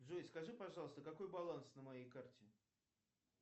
джой скажи пожалуйста какой баланс на моей карте